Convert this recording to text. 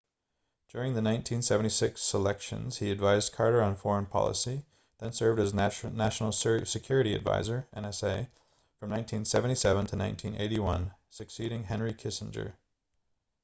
during the 1976 selections he advised carter on foreign policy then served as national security advisor nsa from 1977 to 1981 succeeding henry kissinger